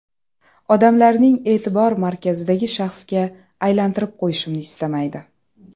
Odamlarning e’tibor markazidagi shaxsga aylanitirib qo‘yishimni istamaydi.